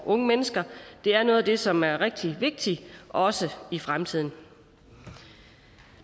unge mennesker er noget af det som er rigtig vigtigt også i fremtiden